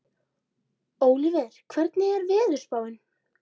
Ólíver, hvernig er veðurspáin?